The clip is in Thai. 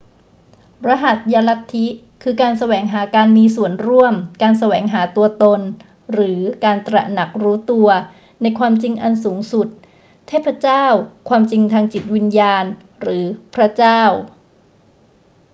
รหัสยลัทธิ คือการแสวงหาการมีส่วนร่วม การแสวงหาตัวตน หรือการตระหนักรู้ตัว ในความจริงอันสูงสุด เทพเจ้า ความจริงทางจิตวิญญาณ หรือพระเจ้า